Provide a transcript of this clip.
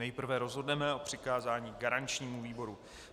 Nejprve rozhodneme o přikázání garančnímu výboru.